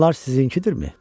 Bunlar sizinkidirmi?